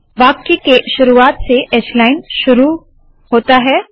वाक्य के शुरुवात से h लाइन शुरू होता है